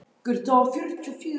Ég var komin svo mikið framyfir.